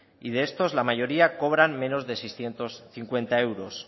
y de estos la mayoría cobran menos de seiscientos cincuenta euros